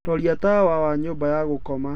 roria tawa wa nyũmba ya gũkoma